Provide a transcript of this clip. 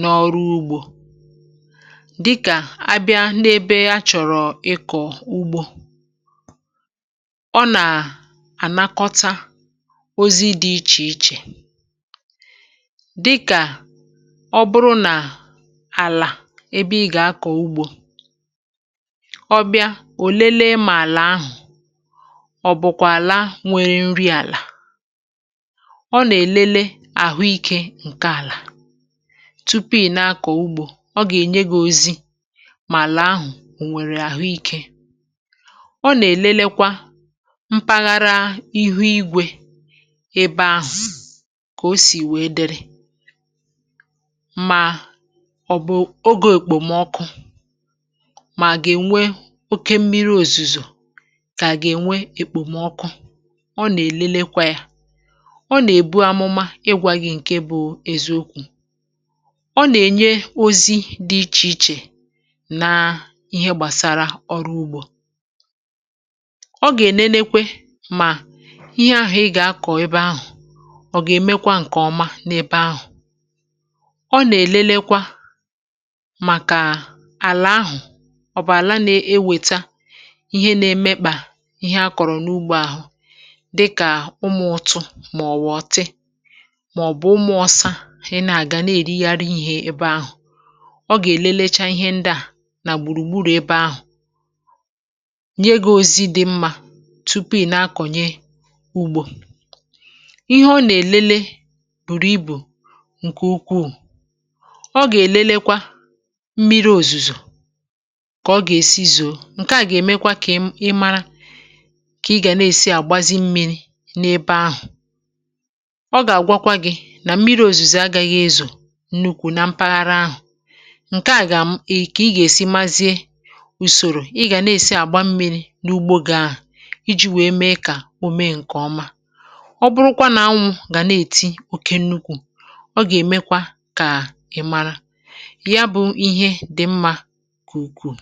n’ọrụ ugbȯ, dịkà abịa n’ebe ya chọ̀rọ̀ ịkọ̀ ugbȯ. Ọ nà-ànakọta ozi dị̇ ichè ichè, dịkà ọbịa ò lelee mà àlà ahụ̀, ọ̀ bụ̀kwà àlà nwere nri̇ àlà. Ọ nà-èlele àhụ ikė ǹke àlà tupu ị̀ na-akọ̀ ugbȯ, ọ gà-ènyegȯ ozi mà àlà ahụ̀ ò nwèrè àhụ ikė. Ọ nà-èlelekwa mpaghara ihu igwè ebe ahụ̀, kà o sì wèe dịrị, mà mà gà-ènwe oke mmiri òzùzò, kà gà-ènwe èkpòmọkụ. Ọ nà-èlelekwa yȧ, ọ nà-èbu amụma igwȧ gị̇ ǹke bụ̇ eziokwù. Ọ nà-ènye ozi dị ichè ichè nà ihe gbàsara ọrụ ugbȯ. Ọ gà-ènenekwe mà ihe ahụ̀ ị gà-akọ̀ ebe ahụ̀, ọ gà-èmekwa ǹkè ọma n’ebe ahụ̀. um Ọ nà-èlelekwa ọ bụ̀ àla na-ewèta ihe na-emekpà ihe akọ̀rọ̀ n’ugbȯ ahụ̀, dịkà ụmụ̀ ụtụ, màọ̀wụ̀ ọ̀tị, màọ̀bụ̀ ụmụ̀ ọsa. Ị nà-àga na-èri yȧ arị̇ ihe ebe ahụ̀, ọ gà-èlelecha ihe ndị à nà gbùrùgburù ebe ahụ̀, nye gȧ ozi dị̇ mmȧ tupu ị na-akọ̀nye ùgbò. Ihe ọ nà-èlele bùrù ibù ǹkè ukwuù, ọ gà-èlelekwa kà ọ gà-èsi zòo ǹkè a, gà-èmekwa kà ị mara kà ị gà na-èsi àgbazi mmiri̇ n’ebe ahụ̀. um Ọ gà-àgwakwa gị̇ nà mmiri̇ òzùzè agaghị ezò nnukwu̇ nà mpaghara ahụ̀. Ǹkè a gà-èkà ị gà-èsi mazie ùsòrò ị gà na-èsi àgba mmiri̇ n’ugbȯ, gà-ahụ̀ iji̇ wèe mee kà o mee ǹkè ọma. um Ọ bụrụkwa nà anwụ̇ gà na-èti oke nnukwu̇, ọ gà-èmekwa kà ị mara too kwa.